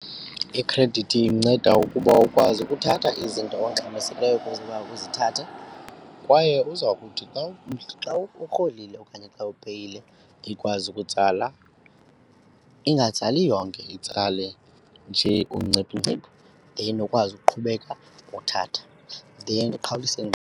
Ikhredithi inceda ukuba ukwazi ukuthatha izinto ongxamisekileyo ukuba uzithathe kwaye uza kuthi xa uthi xa urholile okanye xa upeyile ikwazi ukutsala, ingatsali yonke itsale nje ungciphungciphu then ukwazi ukuqhubeka uthatha, then .